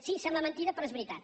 sí sembla mentida però és veritat